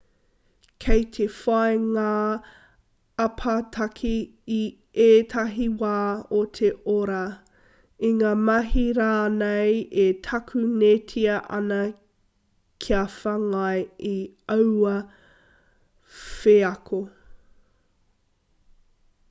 kei te whai ngā apataki i ētahi wā o te ora i ngā mahi rānei e takunetia ana kia whāngai i aua wheako